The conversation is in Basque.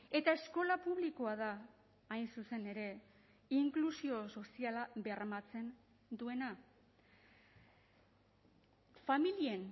eta eskola publikoa da hain zuzen ere inklusio soziala bermatzen duena familien